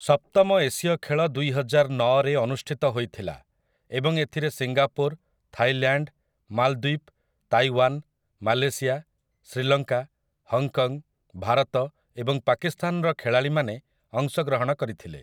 ସପ୍ତମ ଏସୀୟ ଖେଳ ଦୁଇହଜାରନଅରେ ଅନୁଷ୍ଠିତ ହୋଇଥିଲା ଏବଂ ଏଥିରେ ସିଙ୍ଗାପୁର୍, ଥାଇଲ୍ୟାଣ୍ଡ, ମାଲଦ୍ୱୀପ୍, Taiwan, Malaysia, Sri Lanka, Hong Kong, Bharat ଏବଂ ପାକିସ୍ଥାନର ଖେଳାଳୀମାନେ ଅଂଶଗ୍ରହଣ କରିଥିଲେ ।